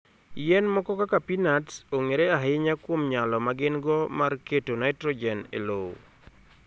Yien moko kaka peanuts, ong'ere ahinya kuom nyalo ma gin-go mar keto nitrogen e lowo.